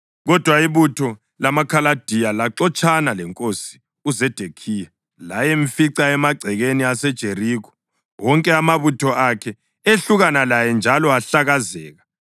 kodwa ibutho lamaKhaladiya laxotshana lenkosi uZedekhiya layamfica emagcekeni aseJerikho. Wonke amabutho akhe ehlukana laye njalo ahlakazeka,